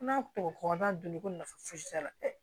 N'a tɔ kɔnna donni ko nafa fosi t'a la